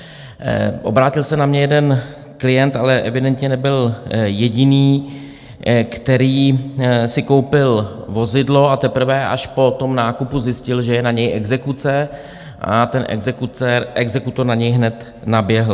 Obrátil se na mě jeden klient, ale evidentně nebyl jediný, který si koupil vozidlo, a teprve až po tom nákupu zjistil, že je na něj exekuce, a ten exekutor na něj hned naběhl.